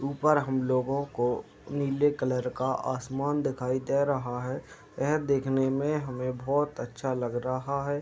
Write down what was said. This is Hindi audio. ऊपर हम लोगों को नीले कलर का आसमान दिखाई दे रहा है। एह देखने में हमें बहोत अच्छा लग रहा है।